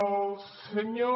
al senyor